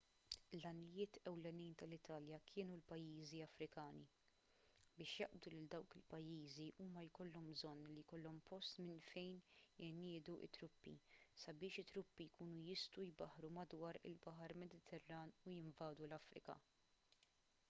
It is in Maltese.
l-għanijiet ewlenin tal-italja kienu l-pajjiżi afrikani biex jaqbdu lil dawk il-pajjiżi huma jkollhom bżonn li jkollhom post minn fejn iniedu t-truppi sabiex it-truppi jkunu jistgħu jbaħħru madwar il-baħar mediterran u jinvadu l-afrika